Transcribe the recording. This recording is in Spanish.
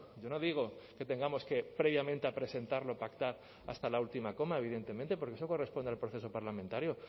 yo no digo que tengamos que previamente a presentarlo pactar hasta la última coma evidentemente porque eso corresponde al proceso parlamentario